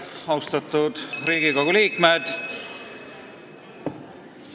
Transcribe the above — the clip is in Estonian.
Austatud Riigikogu liikmed!